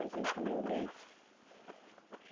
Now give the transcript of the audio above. A gente comeu leite.